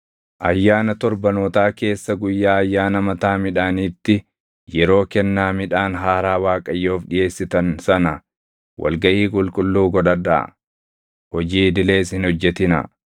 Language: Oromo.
“ ‘Ayyaana Torbanootaa keessa guyyaa ayyaana mataa midhaaniitti yeroo kennaa midhaan haaraa Waaqayyoof dhiʼeessitan sana wal gaʼii qulqulluu godhadhaa; hojii idilees hin hojjetinaa.